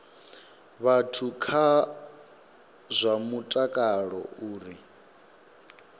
vhathu kha zwa mutakalo uri